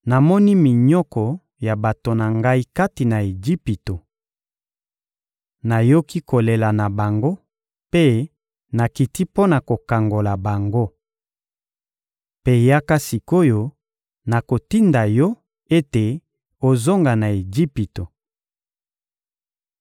Namoni minyoko ya bato na Ngai kati na Ejipito. Nayoki kolela na bango mpe nakiti mpo na kokangola bango. Mpe yaka sik’oyo, nakotinda yo ete ozonga na Ejipito.»